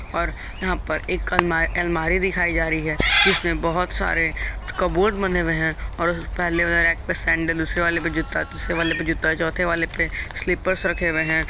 और यहां पर एक कलमा अलमारी दिखाई जा रही है जिसमें बहोत सारे कपबोर्ड बने हुए हैं और पहले वाले रैक पे सैंडल दूसरे वाले में जूता तीसरे वाले में जूता चौथे वाले मे स्लिपर्स रखे हुए हैं।